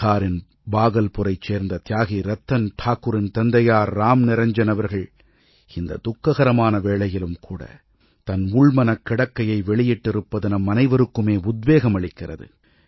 பிஹாரின் பாகல்புரைச் சேர்ந்த தியாகி ரத்தன் டாக்குரின் தந்தையார் ராம்நிரஞ்ஜன் அவர்கள் இந்த துக்ககரமான வேளையிலும் கூட தன் உள்மனக் கிடக்கையை வெளியிட்டிருப்பது நம்மனைவருக்குமே உத்வேகம் அளிக்கிறது